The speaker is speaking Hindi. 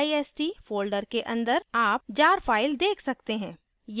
dist folder के अंदर आप jar file देख सकते हैं